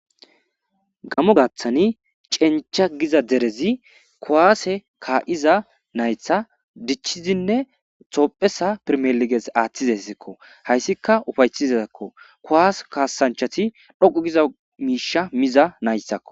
Gamo gaaththani cencha giza derezi kowaase kaa'iza naytha dichizinne toophesa pirmeliges aaththizessekko hayssika ufaytizazakko kowase kaasanchati dhoqu giza miisha miza nayssakko.